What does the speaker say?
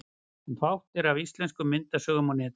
En fátt er af íslenskum myndasögum á netinu.